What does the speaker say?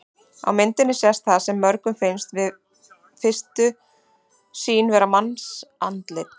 Á myndinni sést það sem mörgum finnst við fyrstu sýn vera mannsandlit.